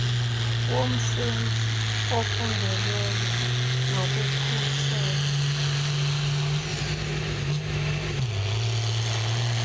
womsenzi ofundelweyo nokukhusela